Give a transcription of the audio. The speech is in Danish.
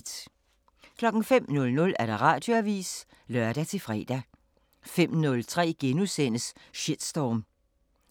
05:00: Radioavisen (lør-fre) 05:03: Shitstorm